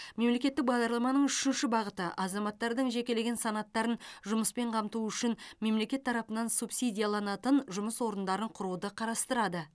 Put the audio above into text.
мемлекеттік бағдарламаның үшінші бағыты азаматтардың жекелеген санаттарын жұмыспен қамту үшін мемлекет тарапынан субсидияланатын жұмыс орындарын құруды қарастырады